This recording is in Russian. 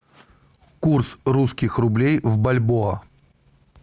курс русских рублей в бальбоа